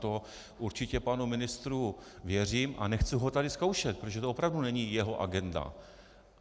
To určitě panu ministru věřím a nechci ho tady zkoušet, protože to opravdu není jeho agenda.